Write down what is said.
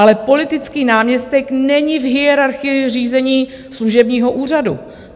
Ale politický náměstek není v hierarchii řízení služebního úřadu.